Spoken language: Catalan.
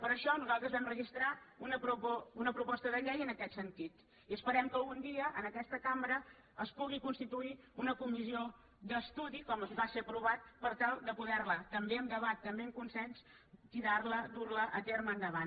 per això nosaltres vam registrar una proposta de llei en aquest sentit i esperem que un dia en aquesta cambra es pugui constituir una comissió d’estudi com va ser aprovat per tal de poder també amb debat també amb consens tirar la dur la a terme endavant